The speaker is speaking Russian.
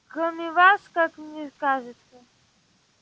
кроме вас как мне кажется